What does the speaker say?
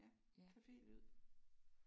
Ja. Cafélyd